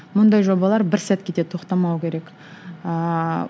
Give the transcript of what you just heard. мұндай жобалар бір сәтке де тоқтамау керек ыыы